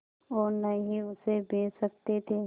और न ही उसे बेच सकते थे